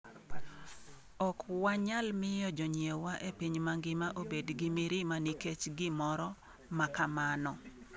Ok wanyal miyo jonyiewwa e piny mangima obed gi mirima nikech gimoro ma kamano.